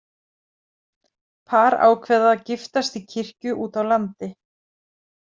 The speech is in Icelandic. Par ákveða að giftast í kirkju út á landi.